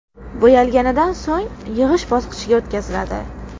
Bo‘yalganidan so‘ng yig‘ish bosqichiga o‘tkaziladi.